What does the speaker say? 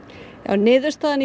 niðurstaðan